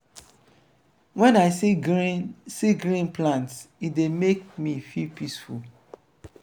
wen i see green see green plants e dey make me feel peaceful.